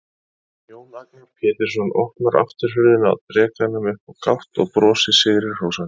Jón Agnar Pétursson opnar afturhurðina á drekanum upp á gátt og brosir sigri hrósandi.